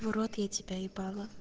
в рот я тебя ебала